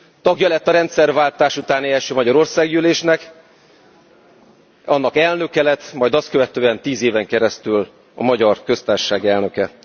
Tagja lett a rendszerváltás utáni első magyar országgyűlésnek, annak elnöke lett, majd azt követően tíz éven keresztül a Magyar Köztársaság elnöke.